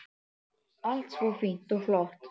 Allt svo fínt og flott.